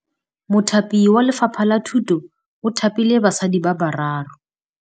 Mothapi wa Lefapha la Thutô o thapile basadi ba ba raro.